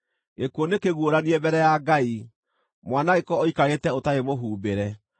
Gĩkuũ nĩkĩguũranie mbere ya Ngai; mwanangĩko ũikarĩte ũtarĩ mũhumbĩre.